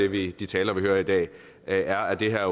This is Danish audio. ved de taler vi hører i dag er at det her